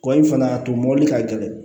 Kɔli fana a to mɔbili ka gɛlɛn